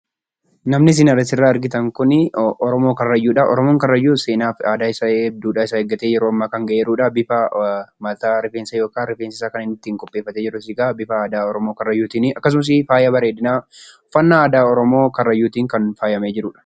Namni isin asirraa argitan kun oromoo karrayyuudha. Karrayyuun kun aadaa fi duudhaa isaa eeggatee kan ammaa gahedha. Bifa mataa yookaan rifeensa ittiin qopheeffatee jirus egaa bifa aadaa oromoo karrayyuutiini. Akkasumas immoo faayaa bareedinaa uffataa aadaa karrayyuutiin bareedee kan jirudha.